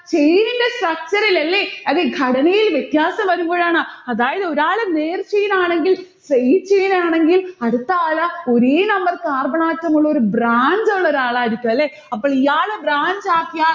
chain ന്റെ structure ഇൽ അല്ലെ? അതെ. ഘടനയിൽ വ്യത്യാസം വരുമ്പോഴാണ്. അതായത് ഒരാള്നേർ chain ആണെങ്കിൽ straight chain ആണെങ്കിൽ അടുത്തയാൾ ഒരേ number carbon atom ഉള്ളൊരു branch ഉള്ള ഒരാളായിരിക്കും അല്ലെ? അപ്പൊ ഇയാള് branch ആക്കിയാൽ